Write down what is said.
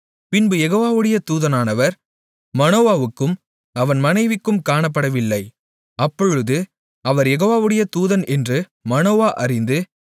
பின்பு யெகோவாவுடைய தூதனானவர் மனோவாவுக்கும் அவன் மனைவிக்கும் காணப்படவில்லை அப்பொழுது அவர் யெகோவாவுடைய தூதன் என்று மனோவா அறிந்து